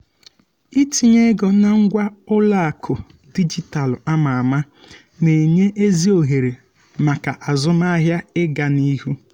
itinye ego na ngwa ụlọakụ dijitalụ ama ama na-enye ezi ohere maka azụmahịa ịgaa n'ihu.